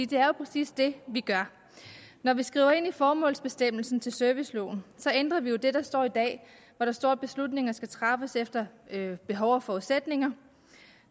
det er jo præcis det vi gør når vi skriver ind i formålsbestemmelsen til serviceloven ændrer vi jo det der står i dag hvor der står at beslutninger skal træffes efter behov og forudsætninger